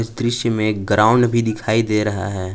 इस दृश्य में ग्राउंड भी दिखाई दे रहा है।